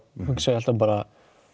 hugsa ég alltaf bara